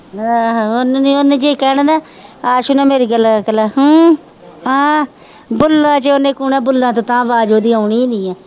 ਆਹੋ ਉਹਨੂੰ ਉਹਨੇ ਜੇ ਕਹਿਣਾ ਨਾ ਆਸੂ ਨਾਲ ਮੇਰੀ ਗੱਲ ਕਰਲਾ ਹੂੰ ਹਾਂ ਬੁੱਲਾਂ ਚੋਂ ਉਹਨੇ ਕੂਹਣਾ ਬੁੱਲਾਂ ਤੋਂ ਉਤਾਂਹ ਆਵਾਜ਼ ਉਹਦੀ ਆਉਣੀ ਹੀ ਨੀ ਹੈ